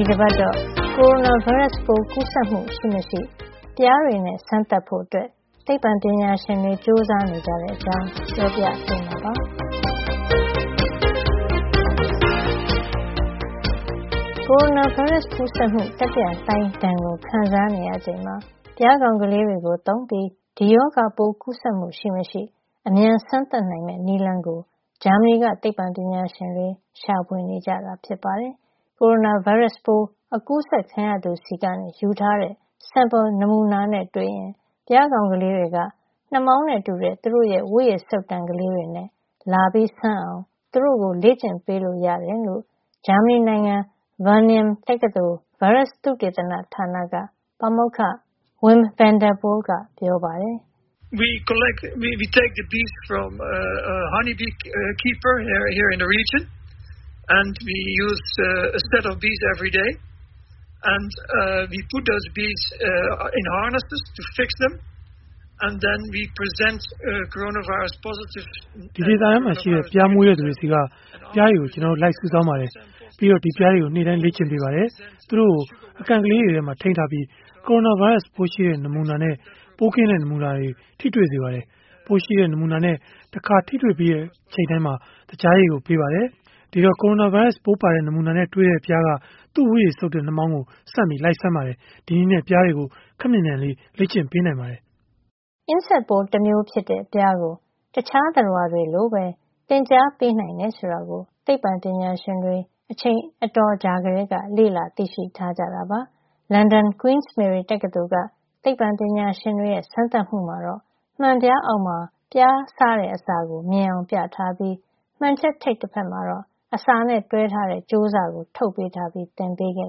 ီတပတ်တော့ ကိုရိုနာဗိုင်းရပ်စ်ပိုး ကူးစက်မှု ရှိမရှိ ပျားတွေနဲ့စမ်းသပ်ဖို့ သိပ္ပံ ပညာရှင်တွေ ကြိုးစားနေတဲ့ အကြောင်း ပြောပြပေးမှာပါ။ ကိုရိုနာဗိုင်းရပ်စ် ကူးစက်မှု တတိယလှိုင်းဒဏ် ခံစားနေရချိန်မှာ ပျားကောင်လေးတွေကို သုံးပြီး ဒီရောဂါပိုးကူးစက်မှု ရှိမရှိ အမြန်စမ်းသပ်နိုင်မယ့် နည်းလမ်းကို ဂျာမဏီက သိပ္ပံပညာရှင်တွေ ရှာဖွေနေတာ ဖြစ်ပါတယ်။ ကိုရိုနာဗိုင်းရပ်စ် ပိုးအကူးစက်ခံရသူဆီက ယူထားတဲ့ sample နမူနာနဲ့ တွေ့ရင် ပျားကောင်ကလေးတွေက နှာမောင်းနဲ့ တူတဲ့ သူတို့ရဲ့ဝတ်ရည်စုပ်တံ ကလေးတွေနဲ့ လာစမ်းအောင် သူတို့ကို လေ့ကျင့်ပေးလို့ရတယ်လို့ ဂျာမဏီနိုင်ငံ ဗားနင်ယံWageningen တက္ကသိုလ် ဗိုင်းရပ်စ်သုတေသနဌာနက ပါမောက္ခ Wim Van Der Poel က ပြောပါတယ်။ “ဒီဒေသထဲမှာရှိတဲ့ ပျားမွေးမြူတဲ့သူတွေဆီက ပျားတွေကို ကျနော်တို့ လိုက်စုဆောင်းပါတယ်။ ပြီးတော့ဒီပျားတွေကို နေ့တိုင်းလေ့ကျင့်ပေးပါတယ်။ သူတို့ကို အကန့်ကလေးထဲမှာထိန်းထားပြီး ကိုရိုနာဗိုင်းရပ်စ် ပိုးရှိတဲ့ နမူနာနဲ့ ပိုးကင်းတဲ့ နမူနာတွေ နဲ့ထိတွေ့စေပါတယ်။ ပိုးရှိတဲ့ နမူနာနဲ့ တခါထိတွေ့ပြီးတိုင်း သကြားရည်ကို ပေးပါတယ်။ ဒီတော့ ကိုရိုနာဗိုင်းရပ်စ် ပိုးပါတဲ့ နမူနာနဲ့ တွေ့တိုင်း ပျားးကသူ့ ဝတ်ရည်စုပ်တဲ့နှာမောင်းကို ဆန့်ပြီးလိုက်စမ်းပါတယ်။ ဒီနည်းနဲ့ ပျားတွေကို ခပ်မြန်မြန်လေး လေ့ကျင့်ပေးနိုင်ပါတယ်။” အင်းဆက်ပိုးတမျိုး ဖြစ်တဲ့ ပျားကို တခြားသတ္တဝါတွေလိုပဲ လေ့ကျင့်သင်ကြား ပေးနိုင်တယ် ဆိုတာကို သိပ္ပံပညာရှင်တွေ အချိန်အတော်ကြာကတည်းက လေ့လာ သိရှိထားကြတာပါ။ လန်ဒန် Queen Mary တက္ကသိုလ်က သိပ္ပံပညာရှင်တွေရဲ့ စမ်းသပ်မှုမှာတော့ မှန်ပြားအောက်မှာ ပျားစားတဲ့အစာကို မြင်အောင် ပြထားပြီး မှန်ချပ်ထိပ်ဖက်မှာတော့ အစာနဲ့တွဲထားတဲ့ ကြိုးစကိုထုတ်ပေးထားပြီး သင်ပေးခဲ့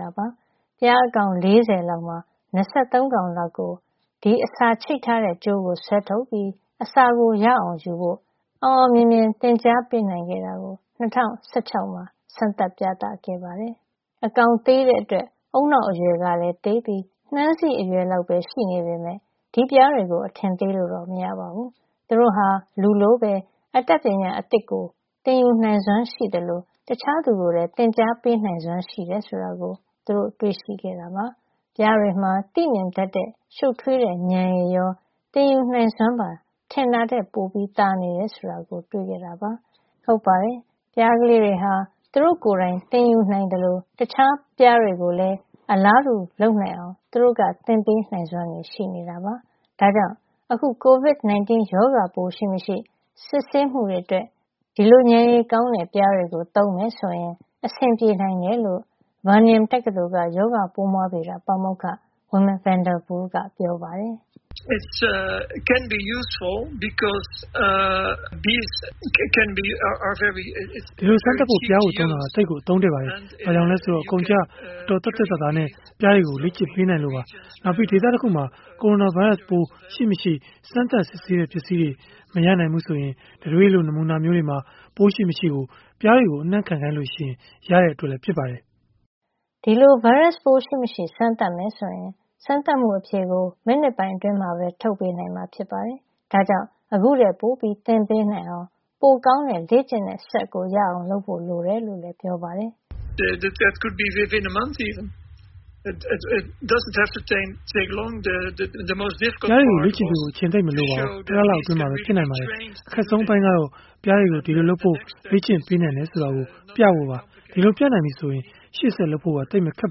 တာပါ။ ပျားအကောင် ၄၀ လောက်မှာ ၂၃ လောက်ကို ဒီအစာချိတ်ထားတဲ့ ကြိုးကို ဆွဲထုတ်ပြီး အစာကို ရအောင်ယူဖို့ အောင်အောင်မြင်မြင် သင်ကြားပေးနိုင်ခဲ့ကြောင့် ၂၀၁၆ မှာ စမ်းသပ်ပြသခဲ့ပါတယ်။ အကောင်သေးတဲ့အတွက် ဦးနှောက်အရွယ်ကလည်း သေးပြီး နှမ်းစေ့အရွယ်လောက်ပဲ ရှိနေပေမယ့် ဒီပျားတွေကို အထင်သေးလို့တော့ မရပါဘူး။ သူတို့ဟာ လူလိုပဲ အတတ်ပညာသစ် ရအောင် သင်ယူနိုင်စွမ်းရှိသလို တခြားသူကိုလည်း သင်ကြားပေးနိုင်စွမ်းရှိတယ် ဆိုတာကို သူတို့ တွေ့ရှိခဲ့တာပါ။ ပျားတွေမှာ သိမြင်တတ်တဲ့ ရှုပ်ထွေးတဲ့ဉာဏ်ရည်ရော သင်ယူနိုင်စွမ်းပါ ထင်တာထက် ပိုသာနေတယ်ဆိုတာကို တွေ့ရှိခဲ့ကြတာ ဖြစ်ပါတယ်။ ဟုတ်ပါတယ် ပျားကလေးတွေဟာ သူတို့ကိုယ်တိုင် သင်ယူနိုင်သလို တခြားပျားတွေကိုလည်း အလားတူ လုပ်နိုင်အောင် သူတို့က သင်ပေးနိုင်စွမ်းလည်း ရှိနေတာပါ။ ဒါကြောင့် အခု Covid 19 ရောဂါပိုး ရှိမရှိ စစ်ဆေးမှုတွေ အတွက်ဒီလိုပျားတွေကို သုံးမယ်ဆိုရင် အဆင်ပြေနိုင်တယ်လို့. ဗားနင်ယံWageningen တက္ကသိုလ်က ရောဂါပိုးမွှားဗေဒ ပါမောက္ခ Wim Van Der Poel က ပြောပါတယ်။ "ဒီလိုစမ်းသပ်ဖို့ ပျားကိုသုံးတာ သိပ်ကို အသုံးတဲ့ပါတယ်။ ဘာကြောင့်လဲ ဆိုတော့ အကုန်အကျ အတော် သက်သက်သာသာနဲ့ ပျားတွေကိုလေ့ကျင့်ပေးနိုင်လို့ပါ။ နောက်ပြီး ဒေသတခုမှာ ကိုရိုနာဗိုင်းရပ်စ်ပိုး ရှိမရှိ စမ်းသပ်စစ်ဆေးတဲ့ ပစ္စည်းတွေ မရနိုင်ဘူးဆိုရင် တံတွေးလို နမူနာမျိုးတွေမှာ ပိုးရှိမရှိ ပျားတွေကို အနံ့ခံ ခိုင်းလို့ရတဲ့ အတွက်ဖြစ်ပါတယ်။” ဒီလို ဗိုင်းရပ်စ်ပိုးရှိမရှိ စမ်းမယ်ဆိုရင် စမ်းသပ်မှုအဖြေကို မိနစ်ပိုင်း အတွင်းမှာပဲ ထုတ်ပေးနိုင်မှာ ဖြစ်ပါတယ်။ ဒါ့ကြောင့် ခုထက်ပိုပြီး သင်ပေးနိုင်အောင် ပိုကောင်းတဲ့ လေ့ကျင့်တဲ့စက်ရအောင် လုပ်ဖို့လိုတယ်လို့လည်း ပြောပါတယ်။ "ပျားတွေကို လေ့ကျင့်ပေးဖို့ အချိန်သိပ်မလိုပါဘူး၊ တလလောက် အတွင်းမှာပဲ ရနိုင်ပါတယ်။ အခက်ဆုံး အပိုင်းကတော့ ပျားတွေကို ဒီလိုလုပ်ဖို့ လေ့ကျင့်ပေးနိုင်တယ် ဆိုတာ ပြဖို့ပါ။ ဒီလို ပြနိုင်ပြီဆိုရင် ရှေ့ဆက် လုပ်ဖို့သိပ်မခက်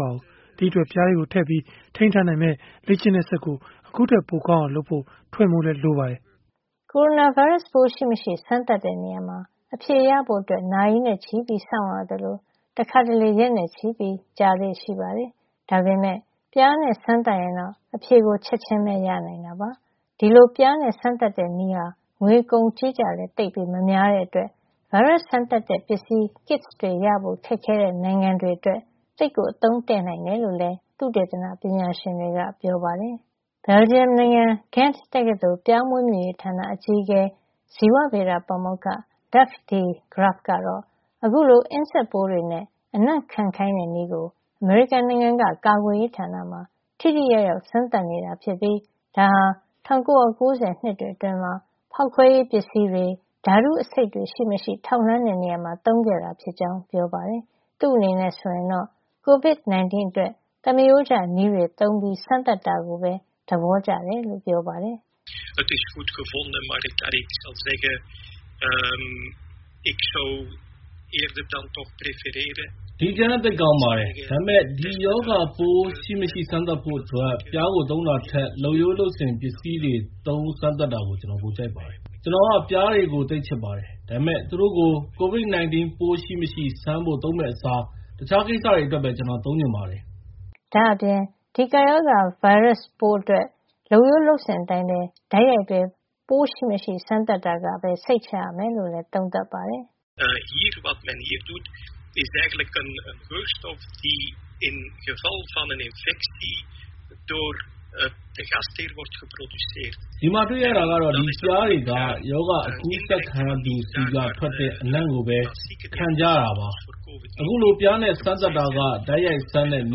တော့ပါဘူး။ ဒီ့အတွက် ပျားတွေကိုထည့်ပြီး ထိန်းထားနိုင်မယ့် လေ့ကျင့်တဲ့စက်ကို ခုထက်ပိုကောင်းအောင် လုပ်ဖို့ - ထွင်ဖို့လိုပါတယ်။” ကိုရိုနာဗိုင်းရပ်စ် ပိုးရှိမရှိ စမ်းသပ်တဲ့နေရာမှာ အဖြေရဖို့ နာရီနဲ့ချီပြီးစောင့်ရသလို တခါတလေ ရက်နဲ့ချီပြီး ကြာလေ့ရှိပါတယ်။ ဒါပေမယ့် ပျားနဲ့ စမ်းသပ်ရင်တော့ အဖြေကို ချက်ချင်းပဲ ရနိုင်တာပါ။ ဒီလို ပျားနဲ့စမ်းသပ်တဲ့နည်းဟာ ငွေကုန်ကြေးကျလည်း သိပ်မများတဲ့ အတွက် ဗိုင်းရပ်စ်စမ်းသပ်တဲ့ ပစ္စည်း kits ရဖို့ ခက်ခဲတဲ့ နိုင်ငံတွေ အတွက် သိပ်ကို အသုံးတဲ့နိုင်တယ်လို့လည်း သုတေသန ပညာရှင်တွေက ပြောပါတယ်။ ဘယ်လ်ဂျီယံနိုင်ငံ Ghent တက္ကသိုလ် ပျားမွေးမြူရေးဌာန အကြီးအကဲ ဇီဝဗေဒပါမေက္ခ Dirk de Graaf ဂရပ်ဖ် ကတော့ အခုလို အင်းဆက်ပိုးတွေနဲ့ အနံ့ခံခိုင်းတဲ့ နည်းကို အမေရိကန်နိုင်ငံက ကာကွယ်ရေးဌာနမှာ ထိထိရောက်ရောက် စမ်းသပ်နေတာ ဖြစ်ပြီး ဒါဟာ ၁၉ ၉ ၀ နှစ်တွေ အတွင်းမှာ ဖေါက်ခွဲရေးပစ္စည်းတွေ၊ ဓါတုအဆိပ်တွေရှိမရှိ ထောက်လှန်းတဲ့ နေရာမှာ သုံးခဲ့တာ ဖြစ်ကြောင်းပြောပါတယ်။ သူ့အနေနဲ့ ဆိုရင်တော့ Covid 19 အတွက် သမရိုးကျနည်းတွေသုံး စမ်းသပ်တာကိုပဲ သဘောကျတယ်လို့ ပြောပါတယ်။ "ဒီ အကြံက သိပ်ကောင်းပါတယ်။ ဒါပေမယ့် ဒီရောဂါပိုး ရှိမရှိ စမ်းသပ်ဖို့အတွက် ပျားကို သုံးတာထက် လုပ်ရိုးလုပ်စဉ် ပစ္စည်းတွေသုံး စမ်းသပ်တာကို ကျနော်ပိုကြိုက်ပါတယ်။ ကျနော်က ပျားတွေကို သိပ်ချစ်ပါတယ်။ ဒါပေမယ့် သူတို့ကို Covid 19 ပိုး ရှိမရှိ စမ်းဖို့ သုံးမယ့်အစား တခြားကိစ္စတွေ အတွက်ပဲ ကျနော်သုံးချင်ပါတယ်။" ဒါ့အပြင် ဒီကပ်ရောဂါဗိုင်းရပ်စ်ပိုးအတွက် လုပ်ရိုးလုပ်စဉ်အတိုင်း တိုက်ရိုက်ပဲ. ဗိုင်းရပ်စ်ရှိမရှိ စမ်းသပ်တာကပဲ စိတ်ချရမယ်လို့ သုံးသပ်ပါတယ်။ "ဒီမှာတွေ့ရတာကတော့ ဒီပျားတွေက ရောဂါ အကူးစက်ခံရသူ ဆီက ထွက်တဲ့ အနံ့ကိုပဲ ခံကြတာပါ။ အခုလို ပျားနဲ့ စမ်းသပ်တာက တိုက်ရိုက်စမ်းတဲ့န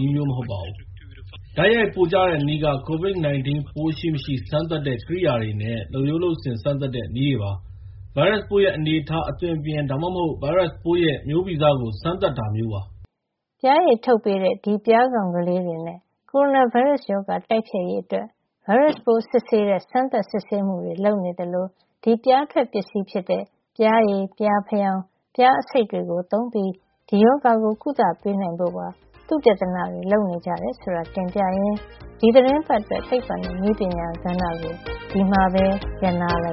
ည်းမျိုးမဟုတ်ပါဘူး။ တိုက်ရိုက်ပိုကျတဲ့နည်းက COVID-19 ပိုးရှိမရှိ စမ်းသပ်တဲ့ကရိယာတွေနဲ့ လုပ်ရိုးလုပ်စဉ် စမ်းသပ်တဲ့ နည်းတွေပါ။ ဗိုင်းရပ်စ်ပိုးရဲ့ အနေအထား အသွင်အပြင် ဒါမှမဟုတ် ဗိုင်းရပ်စ်ပိုးရဲ့ မျိုးဗီဇကို စမ်းသပ်တာမျိူးပါ။” ပျားရည်ထုတ်ပေးတဲ့ ဒီပျားကောင်လေးတွေနဲ့ ကိုရိုနာဗိုင်းရပ်စ် တိုက်ဖျက်ရေး အတွက် ဗိုင်းရပ်ပိုးစစ်ဆေးတဲ့ စမ်းသပ်စစ်ဆေးမှုတွေ လုပ်နေသလို ဒီပျားထွက်ပစ္စည်း ဖြစ်တဲ့ ပျားရည်၊ ပျားဖယောင်း၊ ပျားအဆိပ် တွေသုံးပြီး ဒီရောဂါကို ကုသပေးနိုင်ဖို့ သုတေသနတွေ လုပ်နေကြတယ် ဆိုတာ တင်ပြရင်း ဒီသီတင်းပတ်အတွက် သိပ္ပံနဲ့နည်းပညာ ကဏ္ဍကို ဒီမှာပဲ ရပ်နားလိုက